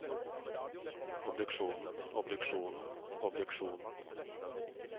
obduksjonen obduksjonen obduksjonen